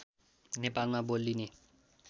नेपालमा बोलिने